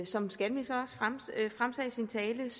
som skatteministeren sagde i sin tale er